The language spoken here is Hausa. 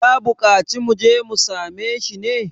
ya buƙaci mu je mu same shi ne?